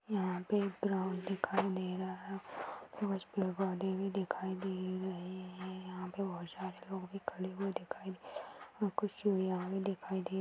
यहाँ पे (पर) एक ग्राउन्ड दिखाई दे रहा है| कुछ पेड़-पौधे भी दिखाई दे रहे है| यहाँ पे (पर) बहुत सारे लोग भी खड़े हुए दिखाई दे रहे है और कुछ चूड़ियाँ भी दिखाई दे रही--